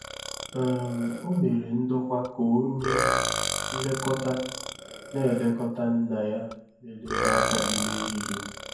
um O mere ndokwa ka onye nlekọta na-elekọta nna ya merela agadi n'ehihie.